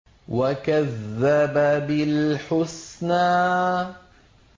وَكَذَّبَ بِالْحُسْنَىٰ